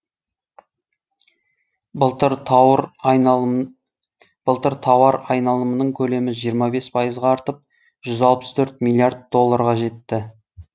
былтыр тауар айналымының көлемі жиырма бес пайызға артып жүз алпыс төрт миллиард долларға жетті